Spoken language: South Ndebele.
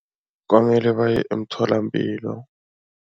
Kwamele baye emtholampilo.